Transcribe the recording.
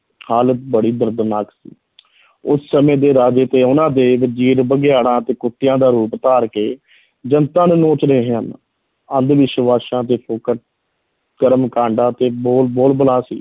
ਹਾਲਤ ਬੜੀ ਦਰਦਨਾਕ ਸੀ ਉਸ ਸਮੇਂ ਦੇ ਰਾਜੇ ਤੇ ਉਹਨਾਂ ਦੇ ਵਜੀਰ ਬਘਿਆੜਾਂ ਅਤੇ ਕੁੱਤਿਆਂ ਦਾ ਰੂਪ ਧਾਰ ਕੇ ਜਨਤਾ ਨੂੰ ਨੋਚ ਰਹੇ ਹਨ, ਅੰਧ-ਵਿਸ਼ਵਾਸਾਂ ਤੇ ਫੋਕਟ ਕਰਮ ਕਾਂਡਾਂ ਤੇ ਬੋਲ ਬੋਲਬਾਲਾ ਸੀ।